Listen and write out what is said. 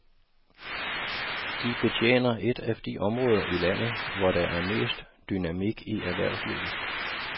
De betjener et af de områder i landet, hvor der er mest dynamik i erhvervslivet.